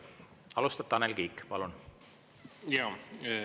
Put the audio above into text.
Alustab Tanel Kiik, palun!